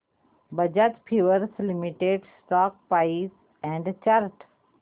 Bajaj Finserv limited stock price and chart